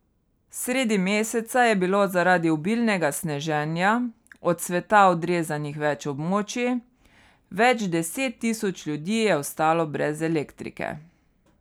Sredi meseca je bilo zaradi obilnega sneženja od sveta odrezanih več območij, več deset tisoč ljudi je ostalo brez elektrike.